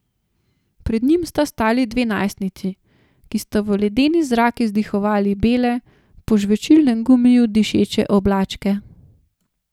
Pred njim sta stali dve najstnici, ki sta v ledeni zrak izdihavali bele, po žvečilnem gumiju dišeče oblačke.